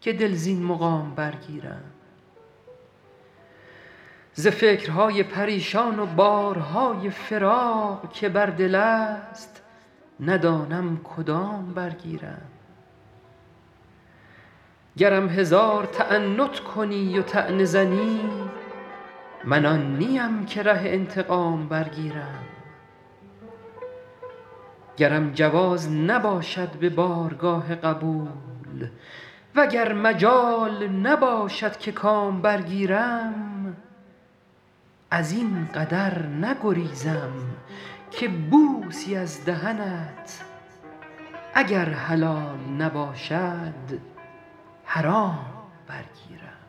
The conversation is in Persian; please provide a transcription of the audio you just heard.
که دل زین مقام برگیرم ز فکرهای پریشان و بارهای فراق که بر دل است ندانم کدام برگیرم گرم هزار تعنت کنی و طعنه زنی من آن نیم که ره انتقام برگیرم گرم جواز نباشد به بارگاه قبول و گر مجال نباشد که کام برگیرم از این قدر نگریزم که بوسی از دهنت اگر حلال نباشد حرام برگیرم